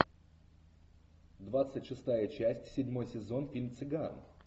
двадцать шестая часть седьмой сезон фильм цыган